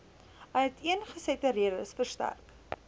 uiteengesette redes verstrek